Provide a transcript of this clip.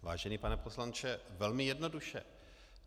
Vážený pane poslanče, velmi jednoduše.